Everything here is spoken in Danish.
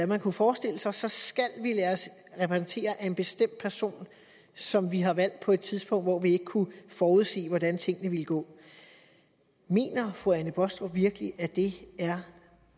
man kunne forestille sig sig skal vi lade os repræsentere af en bestemt person som vi har valgt på et tidspunkt hvor vi ikke kunne forudsige hvordan tingene ville gå mener fru anne baastrup virkelig at det